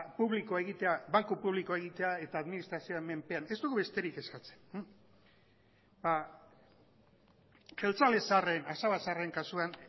publiko egitea banku publikoa egitea eta administrazioaren menpean ez dugu besterik eskatzen jeltzale zaharren asaba zaharren kasuan